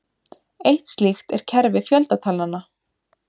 Eitt slíkt er kerfi fjöldatalnanna.